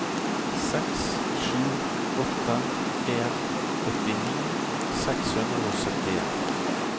seks sju åtte en åttini seks hundre og syttien